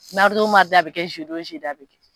o a bɛ kɛ, o a bɛ kɛ.